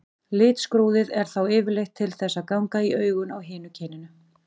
Litskrúðið er þá yfirleitt til þess að ganga í augun á hinu kyninu.